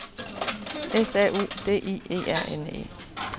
S A U D I E R N E